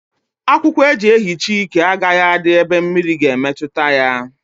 Akwụkwọ eji ehicha íke agaghi adị n'ebe mmiri ga emetụta ya